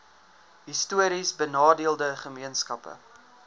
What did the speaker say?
histories benadeelde gemeenskappe